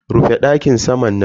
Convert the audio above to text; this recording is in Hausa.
Rufe dakin saman nan.